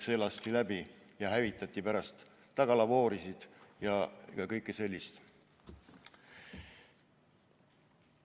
See tuli läbi lasta ja hävitada pärast tagalavoore ja muud sellist teha.